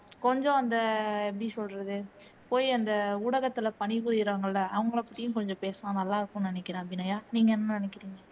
கொஞ்சம் அந்த எப்படி சொல்றது போய் அந்த ஊடகத்துல பணி புரிறாங்க இல்ல அவங்களைப் பத்தியும் கொஞ்சம் பேசுனா நல்லா இருக்கும்னு நினைக்கிறேன் அபிநயா நீங்க என்ன நினைக்கிறீங்க